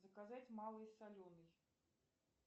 заказать малый соленый